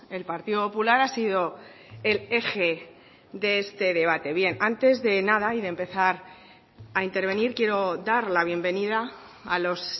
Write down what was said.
el partido popular ha sido el eje de este debate bien antes de nada y de empezar a intervenir quiero dar la bienvenida a los